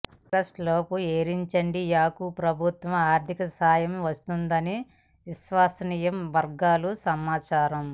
August లోపు ఎయిరిండియాకు ప్రభుత్వం ఆర్థిక సాయం వస్తుందని విశ్వసనీయ వర్గాల సమాచారం